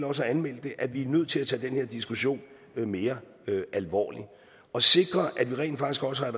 også har anmeldt det at vi er nødt til at tage den her diskussion mere alvorligt og sikre at vi rent faktisk også har